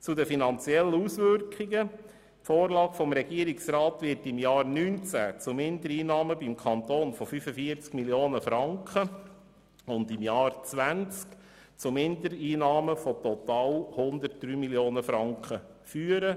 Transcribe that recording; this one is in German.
Zu den finanziellen Auswirkungen: Die Vorlage des Regierungsrats wird im Jahr 2019 zu Mindereinnahmen im Kanton von 45 Mio. Franken und im Jahr 2020 zu Mindereinnahmen von total 103 Mio. Franken führen.